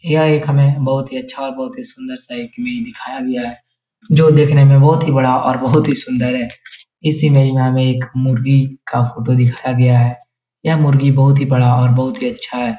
यह एक हमे बहुत ही अच्छा और बहुत ही सुन्दर सा इमेज दिखाया गया है। जो देखने में बोहोत ही बड़ा और बोहोत ही सुन्दर है। इस इमेज में हमे मुर्गी का फोटो दिखाया गया है। यह मुर्गी बहुत ही बड़ा और बोहोत ही अच्छा है ।